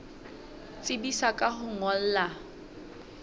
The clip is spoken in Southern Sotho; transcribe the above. tsebisa ka ho o ngolla